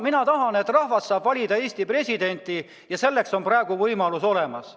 Mina tahan, et rahvas saab valida Eesti presidenti, ja selleks on praegu võimalus olemas.